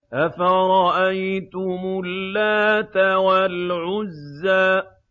أَفَرَأَيْتُمُ اللَّاتَ وَالْعُزَّىٰ